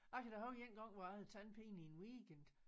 Jeg kan da huske en gang hvor jeg havde tandpine i en weekend